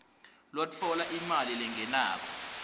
lotfola imali lengenako